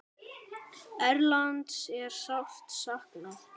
Erlends er sárt saknað.